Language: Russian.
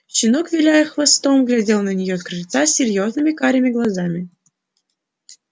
щенок виляя хвостом глядел на неё с крыльца серьёзными карими глазами